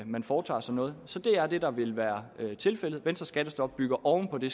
man foretager sig noget så det er det der vil være tilfældet venstres skattestop bygger oven på det